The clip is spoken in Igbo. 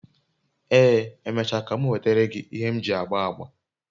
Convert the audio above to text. ee, emecha ka m nwetara gi ihe m ji agba agba